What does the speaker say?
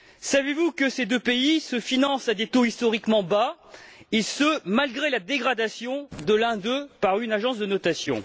Savez vous que ces deux pays se financent à des taux historiquement bas, et ce malgré la dégradation de l'un d'eux par une agence de notation?